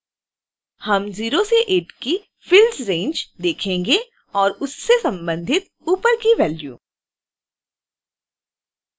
हम 0 से 8 की fields रैंज देखेंगे और उससे संबधित ऊपर की वैल्यू